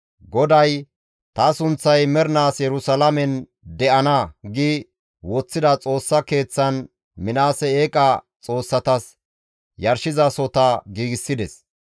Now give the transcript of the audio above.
GODAY, «Ta sunththay mernaas Yerusalaamen de7ana» gi woththida Xoossa Keeththan Minaasey eeqa xoossatas yarshizasohota giigsides.